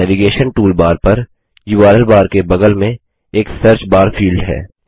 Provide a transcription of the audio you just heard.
navigation toolbar पर URL bar के बगल में एक सर्चबार फील्ड है